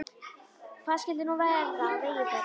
Hvað skyldi nú verða á vegi þeirra?